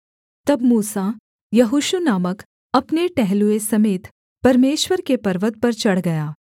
तब मूसा यहोशू नामक अपने टहलुए समेत परमेश्वर के पर्वत पर चढ़ गया